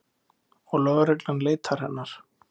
Og lögreglan leitar hennar.